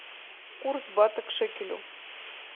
курс бата к шекелю